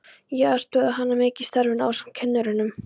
Ég aðstoðaði hana mikið í starfinu ásamt kennurunum